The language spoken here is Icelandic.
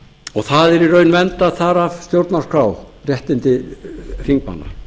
þingmanna eru í raun vernduð þar af stjórnarskrá þessi tjáningarréttur er viðurkenndur